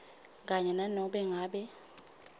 kanye nanobe ngabe